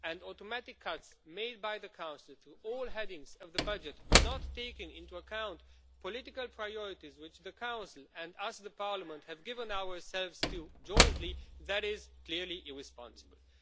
Automatic cuts made by the Council to all headings of the budget, not taking into account the political priorities which the Council and Parliament have given ourselves jointly, is clearly irresponsible.